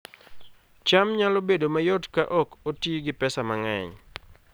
cham nyalo bedo mayot ka ok oti gi pesa mang'eny